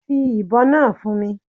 Fi ibon naa fun mi